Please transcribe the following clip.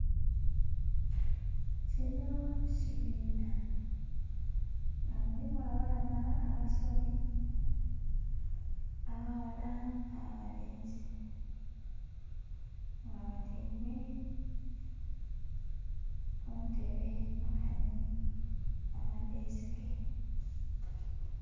Kino kibinha nga mulimu abaana abasomi abaghala n'abalenzi nga batyaime kuntebe nkani amadhesike.